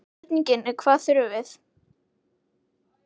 Spurningin er hvað þurfum við?